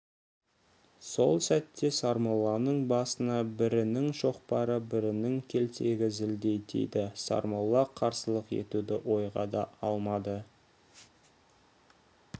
сол сәтте сармолланың басына бірінің шоқпары бірінің келтегі зілдей тиді сармолла қарсылық етуді ойға да алмады